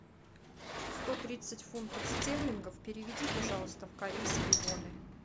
сто тридцать фунтов стерлингов переведи пожалуйста в корейские воны